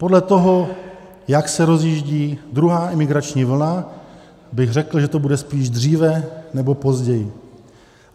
Podle toho, jak se rozjíždí druhá imigrační vlna, bych řekl, že to bude spíš dříve než později.